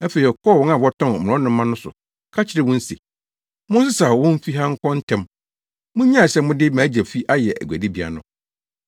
Afei ɔkɔɔ wɔn a wɔtɔn mmorɔnoma no so ka kyerɛɛ wɔn se, “Monsesaw wɔn mfi ha nkɔ ntɛm! Munnyae sɛ mode mʼAgya fi ayɛ aguadibea no!”